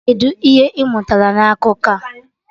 Kedụ ihe ị mụtara na akụkọ a?